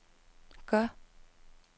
gør